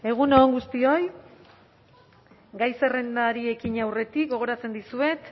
egun on guztioi gai zerrendari ekin aurretik gogoratzen dizuet